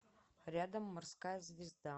рядом морская звезда